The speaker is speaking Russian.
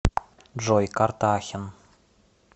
джой карта ахен